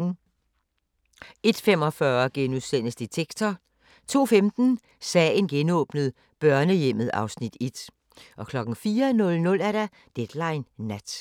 01:45: Detektor * 02:15: Sagen genåbnet : Børnehjemmet (Afs. 1) 04:00: Deadline Nat